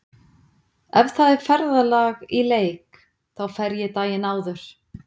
Ef það er ferðalag í leik þá fer ég daginn áður.